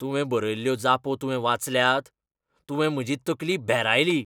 तुवें बरयल्ल्यो जापो तुवें वाचल्यात? तुवें म्हजी तकली भेरायली.